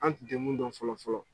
An tun tɛ mun dɔn fɔlɔ fɔlɔ.